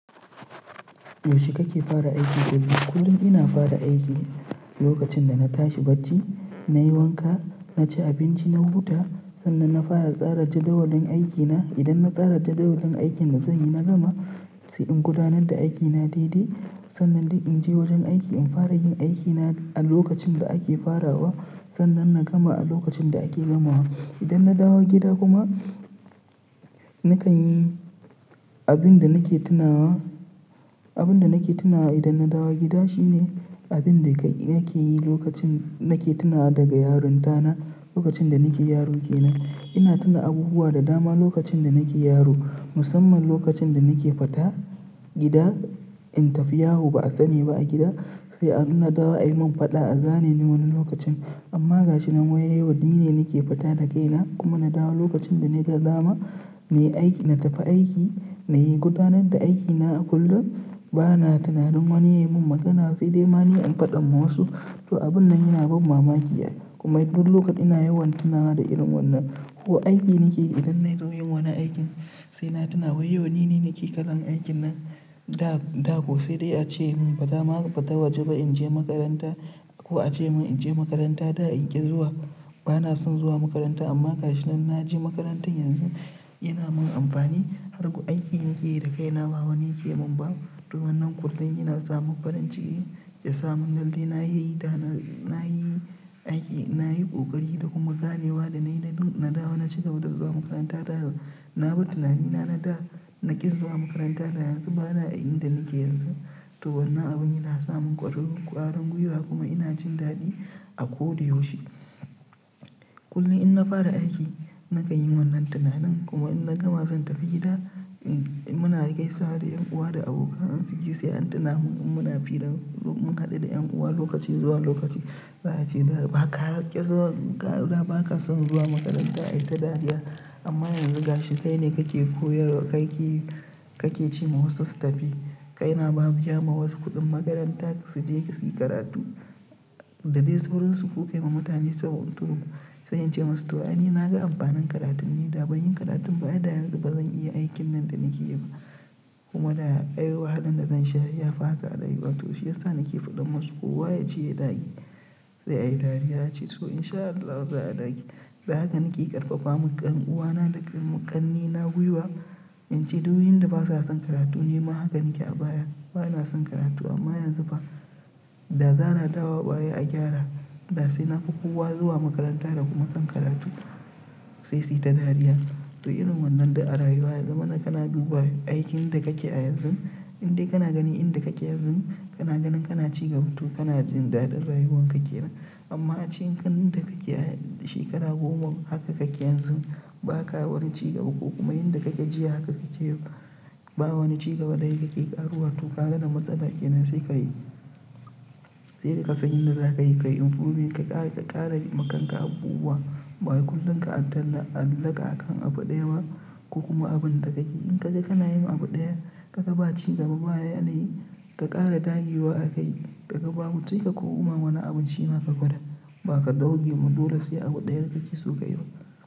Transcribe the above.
Yaushe kake fara aiki? Kullum ina fara aiki lokacin da na tashi bacci, nayi wanka, naci abinci, na huta sannan na fara tsarar da jadawalin aikina. Idan na tsarar da jadawalin aikin da zanyi na gama sai in gudanar da aikina daidai sannan dai inje wajen aiki in fara yin aikina a lokacin da ake farawa sannan na gama a lokacin da ake gamawa. Idan na dawo gida kuma nakan yi abin da nake tunawa, abin da nake tunawa idan na dawo gida shine abin da ka nake yi lokacin nake tunawa daga yaronta na lokacin da nake yaro kenan. Ina tuna abubuwa da dama lokacin da nake yaro musamman lokacin da nake fita gida in tafi yawo ba'a sani ba a gida sai inna dawo ayi mun faɗa a zane ni wani lokacin. Amma ga shi na wayewar di ne nake fita da kaina kuma na dawo lokacin da naga dama nayi aiki na tafi aiki, nayi gudanar da aikina a kullum bana tunanin wani yayi mun magana sai dai ma ni in faɗa ma wasu. To abun nan yana bab mamaki kuma duk lokacin na yawan tunawa da irin wannan ko aiki nike yi idan na zo yin wani aikin sai na tuna wai yau nine nake kalam aikin nan da, da ko sai dai ace mun baza a ma fita waje ba inje makaranta ko ace mun inje makaranta da in ƙi zuwa bana son zuwa makaranta amma ga shi nan naje makarantar yanzu yana mun amfani. Har ga aiki nake yi da kaina ma wa nake mun ba. Tu wannan kullum yana samun farin ciki ya samu ladin nayi da na, nayi aiki nayi ƙoƙari da kuma ganewa da nayi da na dawo na cigaba da zuwa makaranta da. Na bar tunanina na da na ƙi zuwa makaranta da yanzu bana a inda nake yanzu. To wannan abun yana samun ƙwarar, ƙwarin gwiwa kuma ina jin daɗi a ko da yaushe. Kullum inna fara aiki nakan yi wannan tunanin kuma in na gama zan tafi gida muna gaisawa da 'yan uwa da abokan arziki sai an tuna mun muna firar mun haɗu da 'yan uwa lokaci zuwa lokaci. Za a ce "Da ba ka ƙi zuwa karuwa ba ka son zuwa makaranta ai ta dariya amma yanzu ga shi kai ne kake koyarwa kake, kake ce ma wasu su tafi. Kai na babbiya ma wasu kuɗin makaranta su je suyi karatu da dai sauransu kuka yi ma mutane sabon turo sanye ce masu to aini na ga amfanin karatun ne da ban yin karatun ba a da yanzu bazan iya aikin nan da nake yi ba. Kuma da ai wahalan da zan sha ya fi haka a rayuwa to shi yasa nake faɗan masu kowa ya je ya dage sai a yi dariya ace to in sha Allahu za'a dage. Da haka nake ƙarfafa ma ƙan, ƙan'uwana da ƙan, ƙannena gwiwa in ce duk inda basa son karatu nima haka nake a baya bana son karatu amma yanzu ba. Da zana dawo baya a gyara da sai na fi kowa zuwa makaranta da kuma son karatu sai su yi ta dariya. To irin wannan da a rayuwa ya zamana kana duba aikin da kake a yanzu indai kana ganin inda kake yanzu kana ganin kana cigaba tu kana jin daɗin rayuwan kake nan. Amma cikin karnin da kake shekara goma haka kake yanzu ba ka wani cigaba ko kuma inda kake jiya haka kake yau ba wani cigaba daya kake ƙaruwa to ka ga yana matsala kenan sai ka yi, sai da ka san yadda za ka yi ka yi improving ka ƙara, ka ƙara ma kanka abubuwa bawai kullum ka taallaka akan abu daya ba ko kuma abun da ka yi. In ka ga kana yin abu daya ka ga ba cigaba baya nan yi ka ƙara ɗage wa aka yi ka ga babu sai ka koma ma wani abin shima ka gwada ba ka ɗauke ma dole sai abu daya da kake so ka yi ba.